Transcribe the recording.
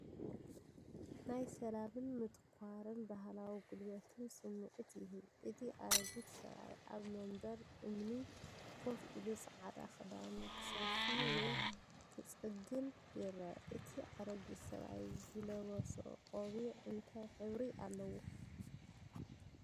ናይ ሰላምን ምትኳርን ባህላዊ ጉልበትን ስምዒት ይህብ። እቲ ኣረጊት ሰብኣይ ኣብ መንበር እምኒ ኮፍ ኢሉ ጻዕዳ ክዳኑ ክስፍይ ወይ ክጽግን ይረአ። እቲ ኣረጊት ሰብኣይ ዝለበሶ ቆቢዕ እንታይ ሕብሪ ኣለዎ?